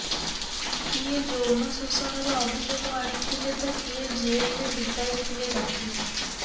କିଏ ଯୌନ ଶୋଷଣର ଅଭିଯୋଗ ଆଣିଥିଲେ ତ କିଏ ଜେଲରେ ବିତାଇଥିଲେ ରାତି